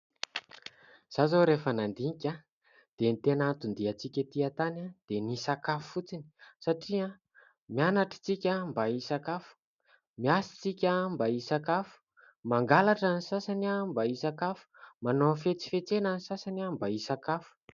Izaho izao rehefa nandinika dia ny tena anton-diantsika ety antany dia ny hisakafo fotsiny satria : mianatra isika mba hisakafo, miasa isika mba hisakafo, mangalatra ny sasany mba hisakafo, manao hafetsifetsena ny sasany mba hisakafo.